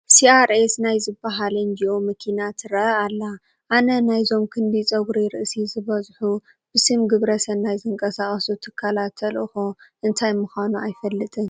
CRS ናይ ዝበሃል ኤንጅኦ መኪና ትርአ ኣላ፡፡ ኣነ ናይዞም ክንዲ ጨጉሪ ርእሲ ዝበዝሑ ብስም ግብረ ሰናይ ዝንቀሳቐሱ ትካላት ተልእኮ እንታይ ምዃኑ ኣይፈልጥን፡፡